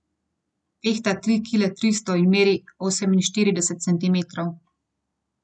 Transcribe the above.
Tehta tri kile tristo in meri oseminštirideset centimetrov.